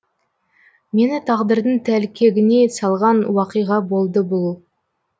мені тағдырдың тәлкегіне салған уақиға болды бұл